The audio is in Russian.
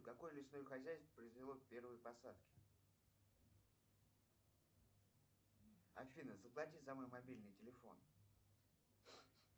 какое лесное хозяйство произвело первые посадки афина заплати за мой мобильный телефон